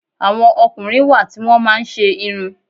Àwọn ọkùnrin wá ti wọn máa ń ṣe irun.